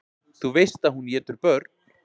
Þú veist að hún étur börn.